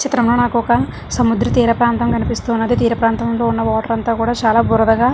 ఈ చిత్రం లో నాకొక సముద్ర తీర ప్రాంతం కనిపిస్తున్నది తీర ప్రాంతం లో ఉన్న వాటర్ అంతా కూడా చాలా బురదగా --